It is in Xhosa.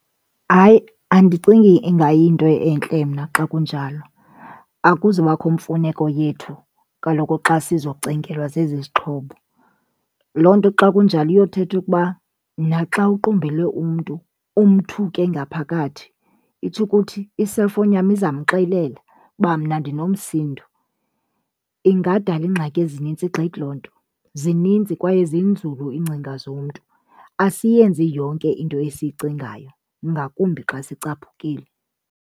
Hayi, andicingi ingayinto entle mna xa kunjalo. Akuzubakho mfuneko yethu kaloku xa sizocingelwa zezizixhobo. Loo nto xa kunjalo yothetha ukuba naxa uqumbele umntu umthuke ngaphakathi, itsho ukuthi i-cellphone yam izamxelela uba mna ndinomsindo. Ingadala ingxaki ezinintsi gqithi loo nto. Zininzi kwaye zinzulu iingcinga zomntu, asiyenzi yonke into esiyicingayo ngakumbi xa sicaphukile.